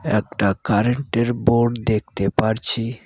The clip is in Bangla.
একটা কারেন্টের বোর্ড দেখতে পারছি।